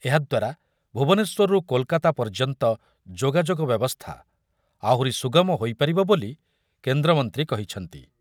ଏହା ଦ୍ୱାରା ଭୁବନେଶ୍ବରରୁ କୋଲକାତା ପର୍ଯ୍ୟନ୍ତ ଯୋଗାଯୋଗ ବ୍ୟବସ୍ଥା ଆହୁରି ସୁଗମ ହୋଇ ପାରିବ ବୋଲି କେନ୍ଦ୍ରମନ୍ତ୍ରୀ କହିଛନ୍ତି ।